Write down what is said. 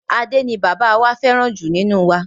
Ade ni bàbá wá fẹràn ju nínú wa.